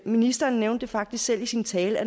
ministeren nævnte faktisk selv i sin tale